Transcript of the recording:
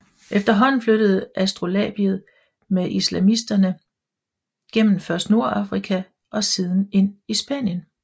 Efterhånden flyttede astrolabiet med islamisterne gennem først Nordafrika og siden ind i Spanien